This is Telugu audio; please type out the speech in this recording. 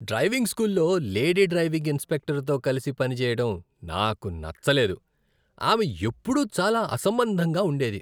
డ్రైవింగ్ స్కూల్లో లేడీ డ్రైవింగ్ ఇన్స్ట్రక్టరుతో కలిసి పనిచేయడం నాకు నచ్చలేదు. ఆమె ఎప్పుడూ చాలా అసంబంధంగా ఉండేది.